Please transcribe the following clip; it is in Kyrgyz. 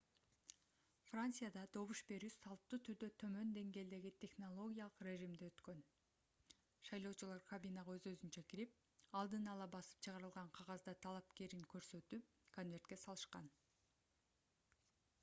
францияда добуш берүү салттуу түрдө төмөн деңгээлдеги технологиялык режимде өткөн шайлоочулар кабинага өз-өзүнчө кирип алдын ала басып чыгарылган кагазда талапкерин көрсөтүп конвертке салышкан